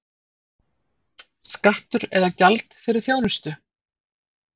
Skattur eða gjald fyrir þjónustu?